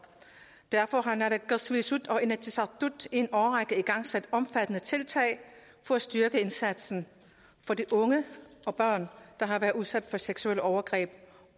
derfor har naalakkersuisut og inatsisartut en årrække igangsat omfattende tiltag for at styrke indsatsen for de unge og børn der har været udsat for seksuelle overgreb